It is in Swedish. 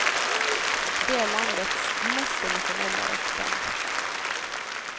De är landets mest emotionella rockband.